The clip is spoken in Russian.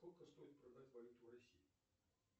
сколько стоит продать валюту в россии